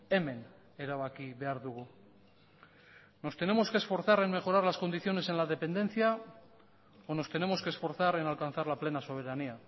hemen erabaki behar dugu nos tenemos que esforzar en mejorar las condiciones en la dependencia o nos tenemos que esforzar en alcanzar la plena soberanía